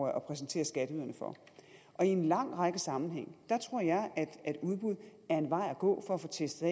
at præsentere skatteyderne for i en lang række sammenhænge tror jeg at udbud er en vej at gå for at få testet